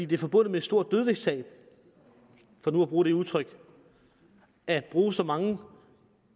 det er forbundet med et stort dødvægtstab for nu at bruge det udtryk at bruge så mange